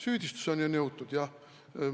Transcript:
Süüdistuseni on jõutud jah.